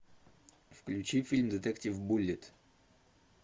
включи фильм детектив буллит